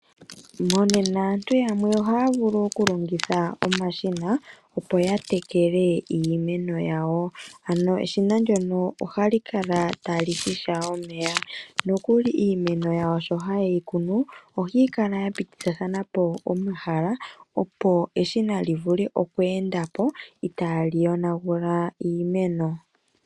Monena aantu yamwe ohaya vulu okulongitha omashina opo ya tekele iimeno yawo . Ano eshina ndyono ohali kala tali shisha omeya . Nokuli iimeno yawo sho hayeyi kunu ohayi kala ya pitithathanapo omahala opo eshina livule oku endapo itaali yonagula iimeno.